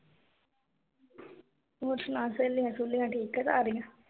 ਹੋਰ ਸੁਣਾ ਸਹੇਲੀਆਂ-ਸਹੁਲੀਆਂ ਠੀਕ ਆ ਸਾਰੀਆਂ?